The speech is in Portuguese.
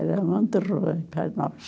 Era muito ruim para nós.